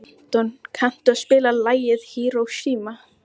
Anton, kanntu að spila lagið „Hiroshima“?